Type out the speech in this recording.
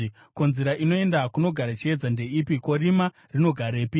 “Ko, nzira inoenda kunogara chiedza ndeipi? Ko, rima rinogarepi?